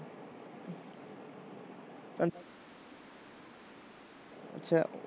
ਅੱਛਾ।